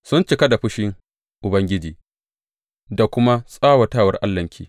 Sun cika da fushin Ubangiji da kuma tsawatawar Allahnki.